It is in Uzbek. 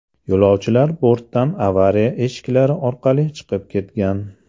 Yo‘lovchilar bortdan avariya eshiklari orqali chiqib ketgan.